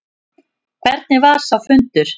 Hvernig var sá fundur?